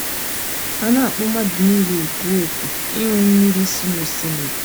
A na-akpọ mmadụ niile òkù òkù ịṅụ mmiri si nosimiri.